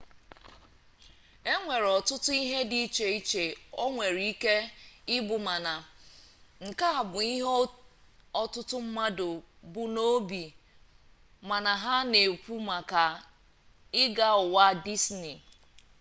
enwere otutu ihe di iche iche o nwere ike i bu mana nke a bu ihe otutu mmadu bu n'obi ma ha n'ekwu maka i ga uwa disney